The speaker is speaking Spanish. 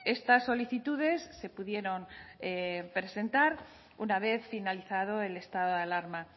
estas solicitudes se pudieron presentar una vez finalizado el estado de alarma